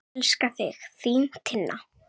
Elska þig, þín Tinna.